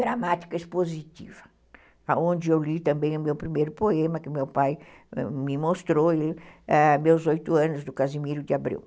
gramática expositiva, onde eu li também o meu primeiro poema, que o meu pai me mostrou, meus oito anos do Casimiro de Abreu.